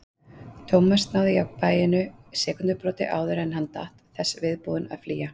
Thomas náði jafnvæginu sekúndubroti áður en hann datt, þess viðbúinn að flýja.